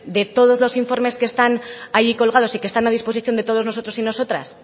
de todos los informes que están allí colgados y que están a disposición de todos nosotros y nosotras